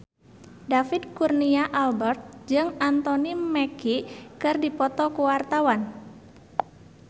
David Kurnia Albert jeung Anthony Mackie keur dipoto ku wartawan